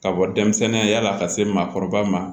Ka bɔ denmisɛnninya ka se maakɔrɔba ma